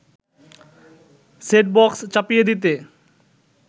set box চাপিয়ে দিতে